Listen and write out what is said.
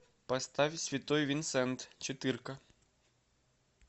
поставь святой винсент четырка